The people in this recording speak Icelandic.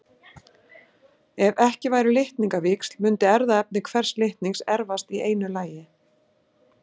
ef ekki væru litningavíxl mundi erfðaefni hvers litnings erfast í einu lagi